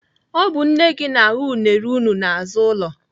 Ọ bụ nne gị na-aghọ unere unu n'azụ ụlọ.